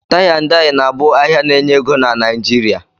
Tie-and-Dye na-bu ahia na enye ego na Nigeria